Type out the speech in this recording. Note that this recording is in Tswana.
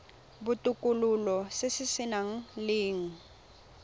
botokololo se se nang le